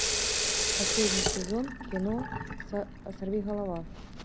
последний сезон кино сорви голова